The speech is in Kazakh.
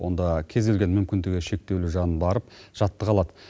онда кез келген мүмкіндігі шектеулі жан барып жаттыға алады